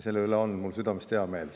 Selle üle on mul südamest hea meel.